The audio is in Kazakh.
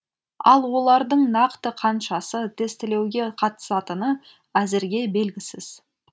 ал олардың нақты қаншасы тестілеуге қатысатыны әзірге белгісіз